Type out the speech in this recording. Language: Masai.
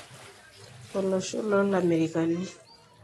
olosho lo lamerikani.